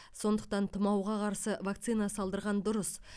сондықтан тұмауға қарсы вакцина салдырған дұрыс